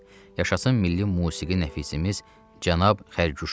Yaşasın milli musiqi nəfisimiz cənab Xərquşov!